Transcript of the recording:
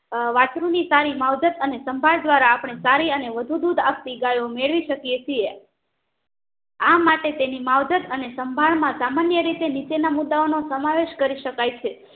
અ વાસ્ત્રુ ની સારી માવજત અને સંભાળ દ્વારા અપણે સારી અને વધુ દૂધ આપતી ગાયો મેળવી શકીએ છીએ આ માટે તેની માવજત અને સંભાળમાં સામાન્ય રીતે નીચેના મુદ્દાઓનો સમાવેશ કરી શકાય છે